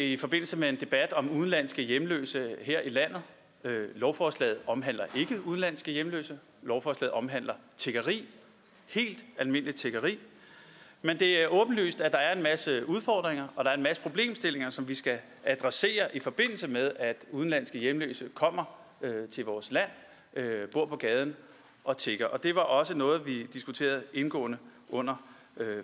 i forbindelse med en debat om udenlandske hjemløse her i landet lovforslaget omhandler ikke udenlandske hjemløse lovforslaget omhandler tiggeri helt almindeligt tiggeri men det er åbenlyst at der er en masse udfordringer og der er en masse problemstillinger som vi skal adressere i forbindelse med at udenlandske hjemløse kommer til vores land bor på gaden og tigger det var også noget vi diskuterede indgående under